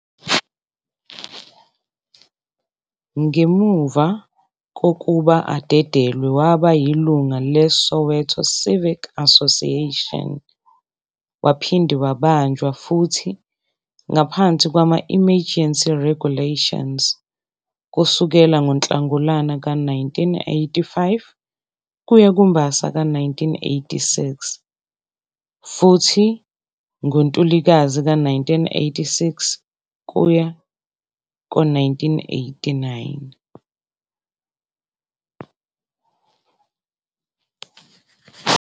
Ngemuva kokuba adedelwe, waba yilunga le Soweto Civic Association, waphinde wabanjwa futhi ngaphansi kwama emergency regulations kusukela ngoNhlangulana ka-1985 kuya kuMbasa ka-1986, futhi ngo Ntulikazi ka-1986 kuya ku-1989.